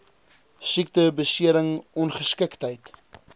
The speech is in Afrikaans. siekte besering ongeskiktheid